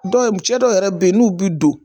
Dɔw cɛ dɔw yɛrɛ be yen n'u bi don